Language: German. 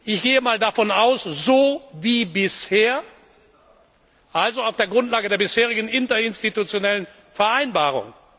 Ich gehe einmal davon aus, so wie bisher, also auf der Grundlage der bisherigen Interinstitutionellen Vereinbarung.